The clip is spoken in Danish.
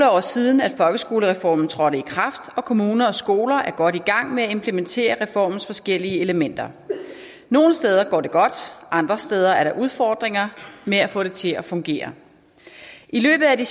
år siden at folkeskolereformen trådte i kraft og kommuner og skoler er godt i gang med at implementere reformens forskellige elementer nogle steder går det godt andre steder er der udfordringer med at få det til at fungere i løbet af de